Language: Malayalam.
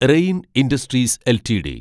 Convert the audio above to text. rain industries LTD